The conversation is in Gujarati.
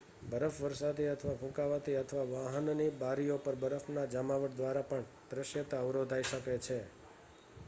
બરફવર્ષાથી અથવા ફૂંકાવાથી અથવા વાહનની બારીઓ પર બરફની જમાવટ દ્વારા પણ દૃશ્યતા અવરોધાઇ શકે છે